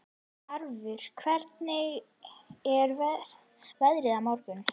Tarfur, hvernig er veðrið á morgun?